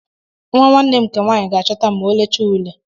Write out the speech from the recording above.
Nwa nwanne m nke nwaanyị ga-achọta m ma olechaa ule.